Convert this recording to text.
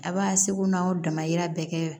A b'a seko n'aw dama yira bɛɛ kɛ